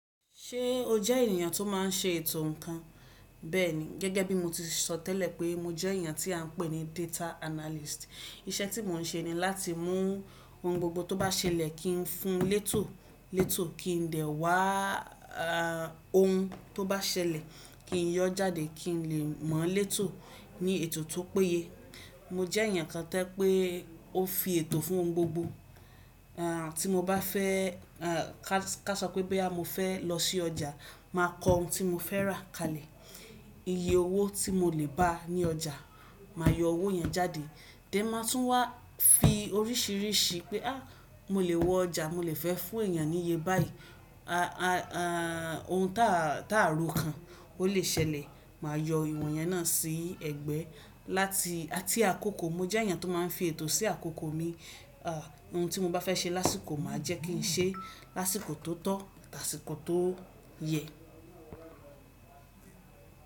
Ṣé o jẹ́ ènìyàn tó má n ṣe ètò ǹkan? Bẹ́ẹ̀ni. Gẹ́gẹ́ bí mo ti sọ tẹ́lẹ̀ pé mo jẹ́ èeyàn tí à ń pè ní data analyst. Iṣẹ́ tí mo n ṣe ni láti mú ohun gbogbo tó bá ṣẹlẹ̀ kí n fun létò. Létò kí n dẹ̀ wá ohun tó bá ṣẹlẹ̀, kí n yọ jáde kí n lè mọ létò ní ètò tó péye. Mo jẹ́ èeyàn kan tẹ́ pé ó fi ètò fún ohun gbogbo. À tí mo bá fẹ́ à káṣo pé bí à mo fẹ́ lọ sí ọjà, mà kọ ohun tí mo fẹ́ rà kalẹ̀. Iye owó tí mo lè bá ní ọjà, mà yọ owó yẹn jáde. Tẹ́ mà tún wá fi oríṣiríṣi pé à mo lè wọ ọjà, mo lè fẹ́ fún ènìyàn níye báyìí. À ohun táàró kan ó lè ṣẹlẹ̀, mà yọ ìwọ̀n yẹn náà sí ẹ̀gbẹ́ láti-- àti àkókò. Mo jẹ́ ènìyàn tó má n fi ètò sí àkókò mi. À ohun tí mo bá fẹ́ ṣe lásìkò mà jẹ́ kí n ṣe lásìkò tó tọ́, lásìkò tó yẹ.